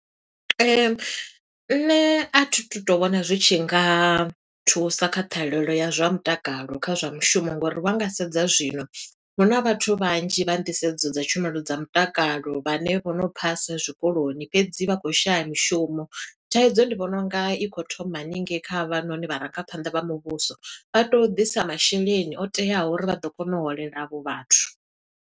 Nṋe athi tu to vhona zwi tshi nga thusa kha ṱhahelelo ya zwa mutakalo, kha zwa mushumo. Ngouri vha nga sedza zwino huna vhathu vhanzhi vha nḓisedzo dza tshumelo dza mutakalo, vhane vho no phasa zwikoloni, fhedzi vha khou shaya mishumo. Thaidzo ndi vhona unga i khou thoma haningei kha havhanoni vharangaphanḓa vha muvhuso, vha tea u ḓisa masheleni o teaho uri vha ḓo kona u holela avho vhathu.